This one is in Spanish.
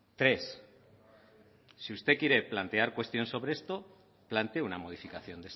tres si usted quiere plantear cuestiones sobre esto plantee una modificación